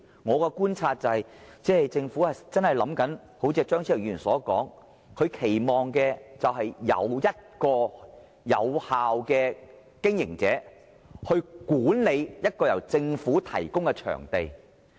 我的觀察是，政府所期望的，正如張超雄議員所說，便是由一個有效的經營者去管理一個由政府提供的場地。